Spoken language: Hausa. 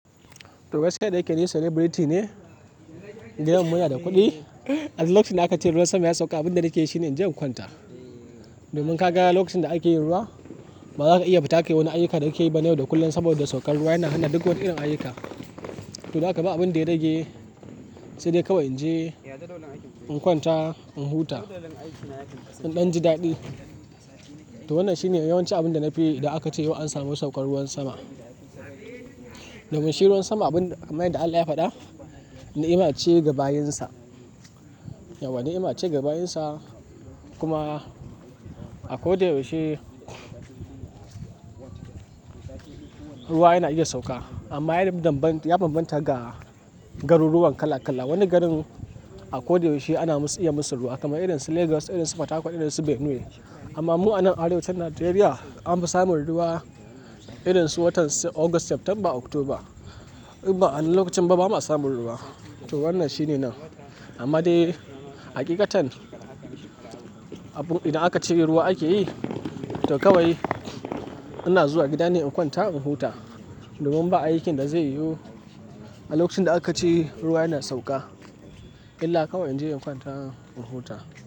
To gaskiya dayake ni celebrity ne, gidan mu yana da kuɗi a lokacin da aka ce ruwan sama ya sauka. Abin da nake yi shine in je in kwanta. Domin ka ga lokacin da ake yin ruwa ba za ka iya fita ki yi wani ayyuka da kike yi ban da yau da kullun saboda saukar ruwa yana hana duk wata irin ayyuka. To, haka ba abin da ya rage sai dai kawai in je in kwanta, in huta, in ɗan ji daɗi. To, wannan shine yawanci abin da na fi idan aka ce yau an samu saukar ruwan sama. Domin shi ruwan sama abun kamar yadda Allah ya faɗa, ni'ima ce ga bayinsa. Yauwa ni'ima ce ga bayinsa kuma a ko da yaushe ruwa yana iya sauka amma ya bambanta, ya bambanta ga garuruwan kala kala. Wani garin a ko da yaushe ana musu iya musu ruwa kamar irin su Legas, irin su Fatakwal, irin su Benue. Amma mu a nan arewacin Najeriya an fi samun ruwa irin su watan si August, September, October. Inba a wannan lokacin ba ba ma samun ruwa. To, wannan shi ne nan. Amma dai hakikatan, abun idan aka cire ruwa ake yi, to kawai ina zuwa gida ne in kwanta in huta. Domin ba ayyukan da zai yiwu a lokacin da aka ce ruwa yana sauka illa kawai in je in kwanta in huta.